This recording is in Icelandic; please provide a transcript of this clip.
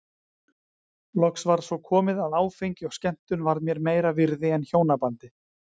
Loks var svo komið að áfengi og skemmtun varð mér meira virði en hjónabandið.